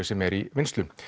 sem er í vinnslu